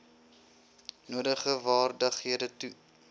nodige vaardighede toe